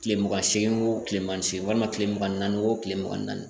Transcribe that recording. Kile mugan ni seegin o tilema segin walima kile mugan ni naani o tile mugan ni naani